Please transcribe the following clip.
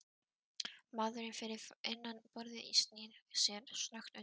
Maðurinn fyrir innan borðið snýr sér snöggt undan.